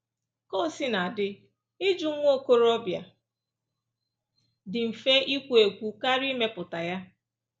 Ka o sina dị, ịjụ nwa okorobịa dị mfe ikwu ekwu karịa ịmepụta ya.